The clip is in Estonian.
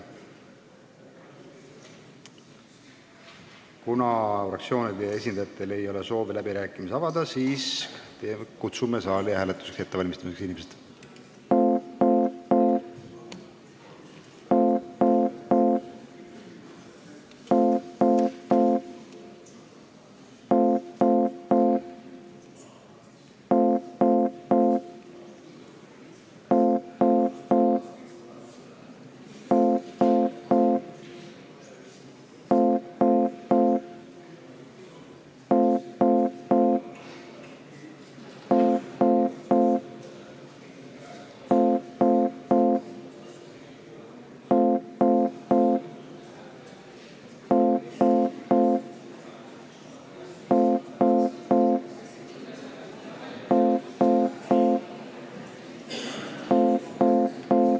Kuna fraktsioonide esindajatel ei ole soovi läbirääkimisi avada, siis kutsume inimesed hääletuse ettevalmistamiseks saali.